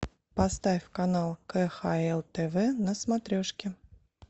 поставь канал кхл тв на смотрешке